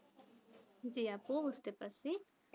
জি আপু বুঝতে পারছি